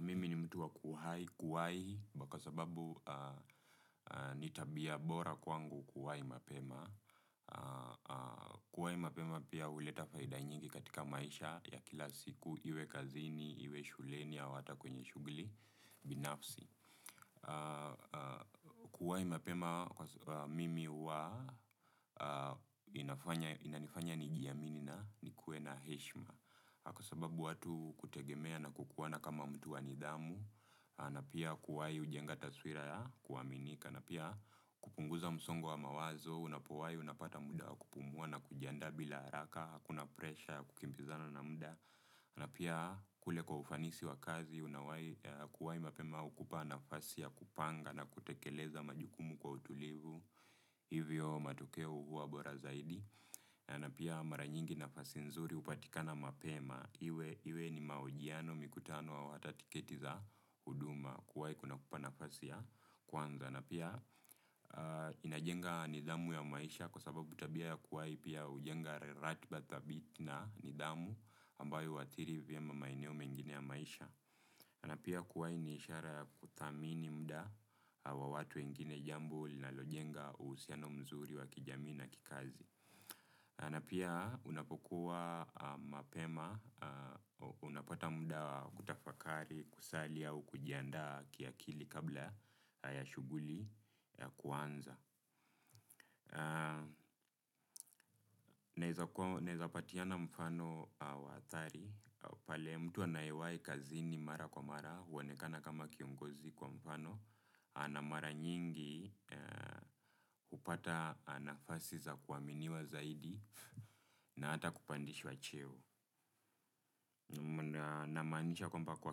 Mimi ni mtu wa kuwahi, kuwahi, kwa sababu ni tabia bora kwangu kuwahi mapema. Kuwahi mapema pia uleta faida nyingi katika maisha ya kila siku, iwe kazini, iwe shuleni, au hata kwenye shughuli, binafsi. Kuwahi mapema, mimi huwa inanifanya nijiamini na nikuwe na heshima. Kwa sababu watu kutegemea na kukuona kama mtu wa nidhamu, na pia kuwai ujenga taswira ya kuaminika, na pia kupunguza msongo wa mawazo, unapowahi unapata muda wa kupumua na kujiandaa bila haraka, hakuna presha, ya kukimbizana na muda, na pia kule kwa ufanisi wa kazi, unawahi kuwahi mapema ukupa nafasi ya kupanga na kutekeleza majukumu kwa utulivu. Hivyo matokeo huwa bora zaidi, na pia mara nyingi nafasi nzuri upatikana mapema, iwe ni mahojiano mikutano au hata tiketi za huduma kuwahi kuna kupa nafasi ya kwanza, na pia inajenga nidhamu ya maisha kwa sababu tabia ya kuwahi pia ujenga ratiba dhabiti na nidhamu ambayo huadhiri vyema maeneo mengine ya maisha. Na pia kuwahi ni ishara ya kuthamini muda wa watu wengine jambo na linajenga uhusiano mzuri wa kijamii na kikazi. Na pia unapokuwa mapema, unapata muda wa kutafakari, kusali au kujiandaa kiakili kabla ya shughuli kuanza. Naweza patiana mfano wa hadhari. Pale mtu anayewahi kazini mara kwa mara huanekana kama kiongozi kwa mfano. Anamara nyingi upata nafasi za kuaminiwa zaidi na hata kupandishwa cheo. Namaanisha kwamba kwa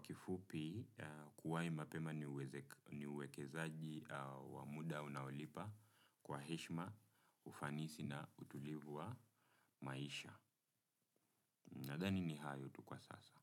kifupi. Kuwahi mapema ni uwekezaji wa muda unaulipa. Kwa heshima ufanisi na utulivu wa maisha. Nathani ni hayo tu kwa sasa.